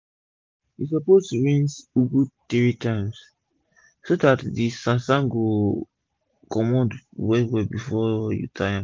u suppose rince ugu 3 times so dat d sand sand go comot well well before u tie am